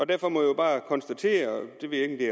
derfor må jeg bare konstatere jeg ved ikke